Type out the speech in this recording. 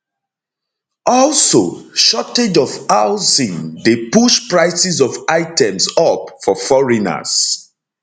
also shortage of housing dey push prices of items up for foreigners